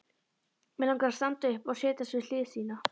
Mig langar að standa upp og setjast við hlið þína.